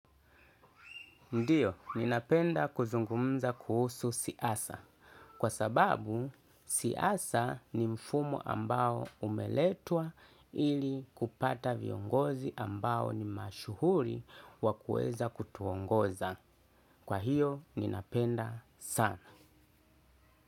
Ndiyo, ninapenda kuzungumza kuhusu siasa. Kwa sababu, siasa ni mfumo ambao umeletwa ili kupata viongozi ambao ni mashuhuri wa kuweza kutuongoza. Kwa hiyo, ninapenda sana.